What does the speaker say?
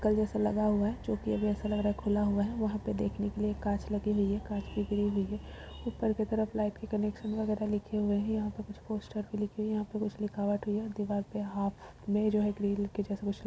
कल जैसा लगा हुआ है जोकि अब ऐसा लग रहा है खुला हुआ है। वहाँ पे देखने के लिए एक कांच लगी हुई है। कांच की ग्रिल भी है। ऊपर के तरफ लाइट के कनेक्शन वगैरह लिखे हुए है। यहाँ पे कुछ पोस्टर भी लिखे हुए है। यहाँ पे कुछ लिखावट हुई है। दिवार के हाफ में जो है ग्रिल के जैसा कुछ --